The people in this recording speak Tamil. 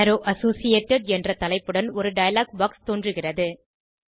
அரோவ் அசோசியேட்டட் என்ற தலைப்புடன் ஒரு டயலாக் பாக்ஸ் தோன்றுகிறது